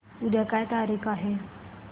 उद्या काय तारीख आहे